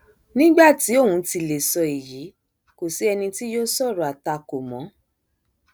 nígbà tí òun ti lè sọ èyí kò sí ẹni tí yóò sọrọ àtakò mọ